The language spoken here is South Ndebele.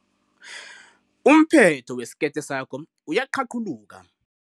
Umphetho wesikete sakho uyaqhaqhuluka.